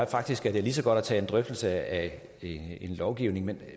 faktisk at det lige så godt at tage en drøftelse af lovgivningen